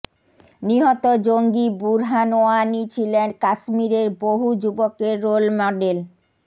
নিহত জঙ্গী বুরহান ওয়ানি ছিলেন কাশ্মরে বহু যুবকের রোল মডেল